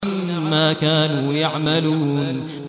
عَمَّا كَانُوا يَعْمَلُونَ